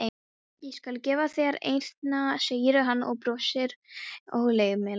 Ég skal gefa þér eina, segir hann og brosir ógleymanlegur.